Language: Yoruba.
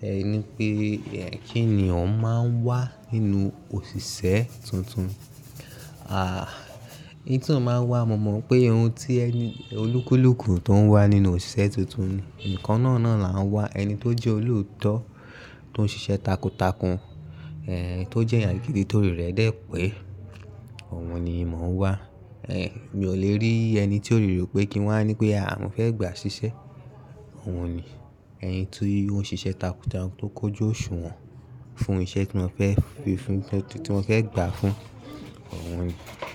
ẹ ní wípé kí ènìyàn máa ń wá nínú òṣìṣẹ́ tuntun? Ah, ohun tí màá ń wá, mo mọ̀ pé ohun tí ẹni olúkúlùkù tó ń wá nínú òṣìṣẹ́ tuntun ni, ǹkan náà náà là ń wá, ẹni tó jẹ́ olóòtọ́ tó ń ṣiṣẹ́ takuntakun, tó jẹ́ èèyàn gidi torí rẹ̀ dé pé òun ni mo ǹ wá. Mi ò lè rí ẹni tí orí rẹ ò pé kí wàá ní wípé à mo fẹ́ gbà ṣiṣẹ́, òun ni. Ẹni tó ń ṣe iṣẹ́ takuntakun tó kójú òṣùwọ̀n fún iṣẹ́ tí wọn fẹ́ fi fún, tí wọn fẹ́ gbà fún, òun ni.